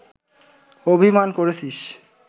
অভিমান করেছিস